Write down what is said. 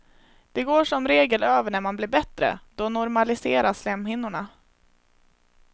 Det går som regel över när man blir bättre, då normaliseras slemhinnorna.